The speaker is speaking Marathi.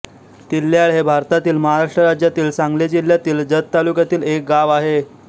तिल्याळ हे भारतातील महाराष्ट्र राज्यातील सांगली जिल्ह्यातील जत तालुक्यातील एक गाव आहे